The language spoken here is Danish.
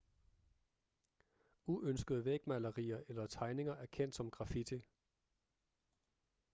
uønskede vægmalerier eller tegninger er kendt som graffiti